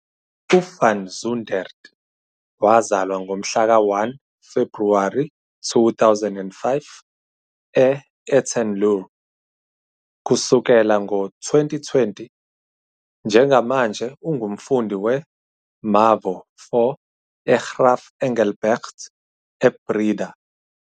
UVan Zundert wazalwa ngomhlaka 1 Februwari 2005 e- Etten-Leur. Kusukela ngo-2020, njengamanje ungumfundi we- mavo-4 eGraaf Engelbrecht eBreda.